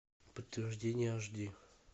подтверждение аш ди